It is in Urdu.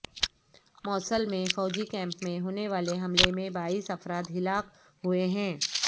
موصل میں فوجی کیمپ میں ہونے والے حملے میں بائیس افراد ہلاک ہوئے ہیں